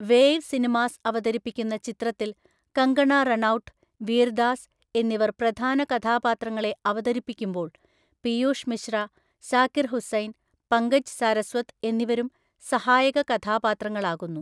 Wave cinemas അവതരിപ്പിക്കുന്ന ചിത്രത്തിൽ കങ്കണ റണൌട്ട്, വീർ ദാസ് എന്നിവർ പ്രധാന കഥാപാത്രങ്ങളെ അവതരിപ്പിക്കുമ്പോള്‍ പിയൂഷ് മിശ്ര, സാക്കിർ ഹുസൈൻ, പങ്കജ് സാരസ്വത് എന്നിവരും സഹായക കഥാപാത്രങ്ങളാകുന്നു.